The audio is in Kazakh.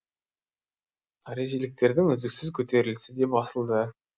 харижиліктердің үздіксіз көтерілісі де басылды